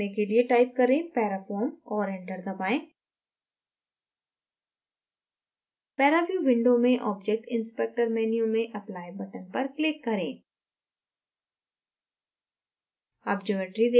geometry देखने के लिए type करें parafoam और enter दबाएँ paraview window में object inspector menu में apply button पर click करें